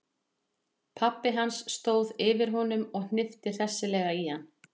Pabbi hans stóð yfir honum og hnippti hressilega í hann.